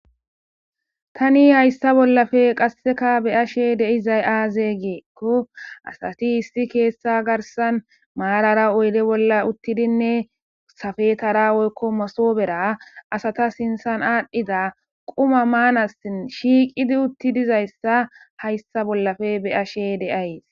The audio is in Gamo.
tani hayssa bollafe qasseka beyashe deizay aazey geekko asati hissi keessa garsan maarara oyde bolla uttidinne safetara woykko masobera asata sintsan aadhdhida quma maanasin shiiqidi uttidizayssa hayssa bollafe beyashe deayes